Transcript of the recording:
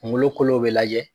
Kungolo kolo bɛ lajɛ.